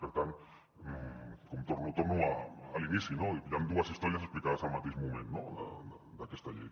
per tant torno a l’inici hi han dues històries explicades al mateix moment no d’aquesta llei